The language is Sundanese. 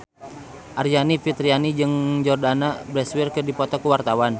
Aryani Fitriana jeung Jordana Brewster keur dipoto ku wartawan